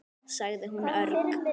sagði hún örg.